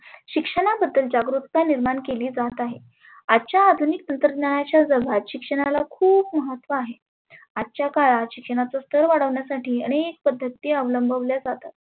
शिक्षणाबद्दल जागृकता निर्मान केली जात आहे. आजच्या अधुनीक तंत्रज्ञानाच्या जगात शिक्षणाला खुप महत्व आहे. आजच्या काळात शिक्षणाच स्थर वाढवण्यासाठी आनेक पद्धती आवलंबल्या जातात.